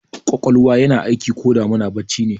Ƙwaƙwalwa yana aiki koda muna bacci ne